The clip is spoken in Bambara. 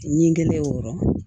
Ɲingɛ o yɔrɔ